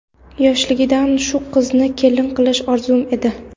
Yoshligidan shu qizni kelin qilish orzum edi.